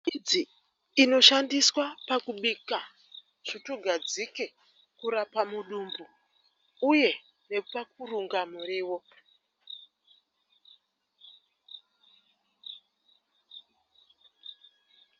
Tsangamidzi inoshandiswa pakubika tsvutugadzike, kurapa mudumbu uye nepakurunga muriwo.